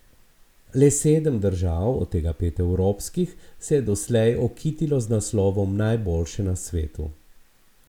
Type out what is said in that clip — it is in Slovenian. Le sedem držav, od tega pet evropskih, se je doslej okitilo z naslovom najboljše na svetu.